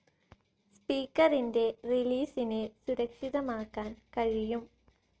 സ്പീക്കറിന്റെ റിലീസിനെ സുരക്ഷിതമാക്കാൻ കഴിയും.